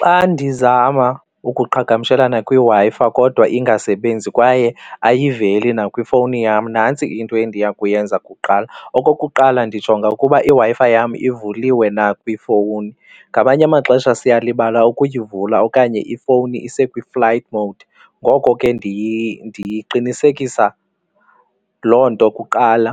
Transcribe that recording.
Xa ndizama ukuqhagamshelana kwiWi-Fi kodwa ingasebenzi kwaye ayiveli akwifowuni yam nantsi into endiya kuyenza kuqala. Okokuqala ndijonga ukuba iWi-Fi yam ivuliwe na kwiifowuni, ngamanye amaxesha siyalibala ukuyivula okanye ifowuni isekwi-flight mode ngoko ke ndiqinisekisa loo nto kuqala.